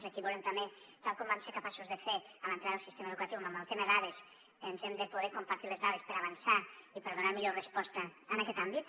aquí volem també tal com vam ser capaços de fer a l’entrada del sistema educatiu amb el tema dades ens hem de poder compartir les dades per avançar i per donar millor resposta en aquest àmbit